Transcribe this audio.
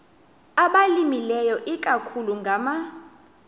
abalimileyo ikakhulu ngama